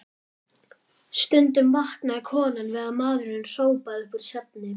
Stundum vaknaði konan við að maðurinn hrópaði upp úr svefni